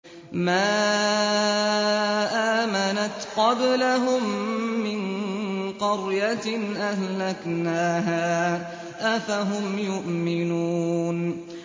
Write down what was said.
مَا آمَنَتْ قَبْلَهُم مِّن قَرْيَةٍ أَهْلَكْنَاهَا ۖ أَفَهُمْ يُؤْمِنُونَ